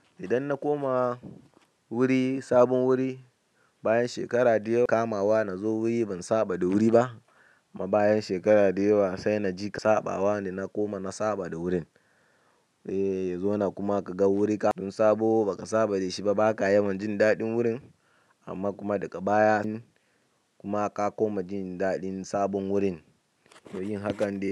Idan na koma wuri, sabon wuri bayan shekara ɗaya kamawa na zo wuri ban saba da wuri ba. Kuma bayan shekaru da yawa sai na ji ka saba wa ne. Na koma na saba da wurin. Eee, zo na kuma ka ga wuri ka tun sabo ba ka saba da shi ba, ba ka yawan jin daɗin wurin amma kuma daga baya kuma ka koma jin daɗin sabon wurin. To yin hakan dai.